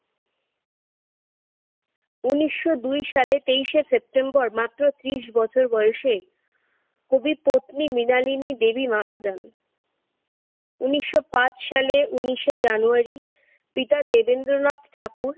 উনিশশো দুই সালে তেইশে সেপ্টেম্বর মাত্র ত্রিশ বছর বয়সে কবি পত্নী মৃণালিনী দেবী মারা যান। উনিশশো পাঁচ সালে উনিশে জানুয়ারি পিতা দেবেন্দ্রনাথ ঠাকুর